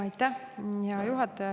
Aitäh, hea juhataja!